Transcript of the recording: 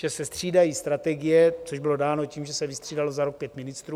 Že se střídají strategie, což bylo dáno tím, že se vystřídalo za rok pět ministrů.